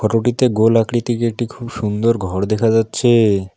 গোল আকৃতির একটি খুব সুন্দর ঘর দেখা যাচ্ছে।